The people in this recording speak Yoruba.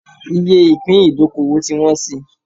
Iye ìpín ìdókòwò ti wọ́n síi